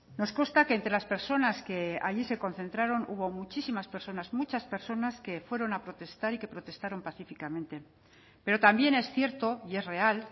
nos consta que entre las personas que allí se concentraron hubo muchísimas personas muchas personas que fueron a protestar y que protestaron pacíficamente pero también es cierto y es real